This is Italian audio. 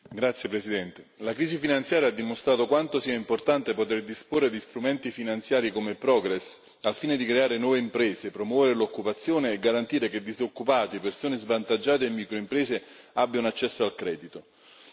Signora Presidente, onorevoli colleghi, la crisi finanziaria ha dimostrato quanto sia importante poter disporre di strumenti finanziari come Progress, al fine di creare nuove imprese e promuovere l'occupazione e garantire che disoccupati, persone svantaggiate e microimprese abbiano accesso al credito.